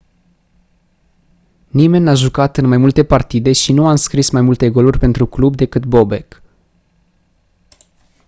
nimeni n-a jucat în mai multe partide și nu a înscris mai multe goluri pentru club decât bobek